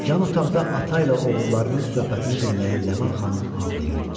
Yan otaqda ata ilə oğullarının söhbətini dinləyən Ləman xanım ağlayırdı.